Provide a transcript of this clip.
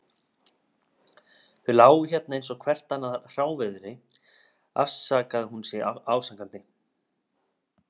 Þau lágu hérna eins og hvert annað hráviði, afsakar hún sig ásakandi.